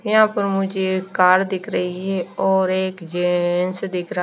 यहा पर मुझे एक कार दिख रही है और एक जेंट्स दिख रहा--